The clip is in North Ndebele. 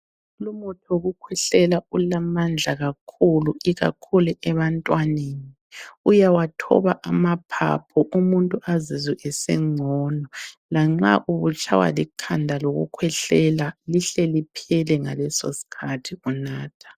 Lumuthi wokukhwehlela ulamandla kakhulu ikakhulu ebantwaneni. Uyawathoba amaphaphu umuntu azizwe esengcono, lanxa ubutshaywa likhanda lokukhwehlela, lihle liphele ngaleso sikhathi unatha.